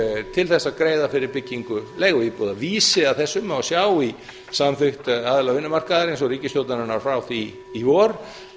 til þess að greiða fyrir byggingu leiguíbúða vísi að þessu má sjá í samþykkt aðila vinnumarkaðarins og ríkisstjórnarinnar frá því í vor